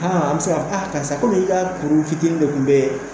aa an bɛ se k'a fɔ a karisa komi i ka kuru fitinin de tun bɛ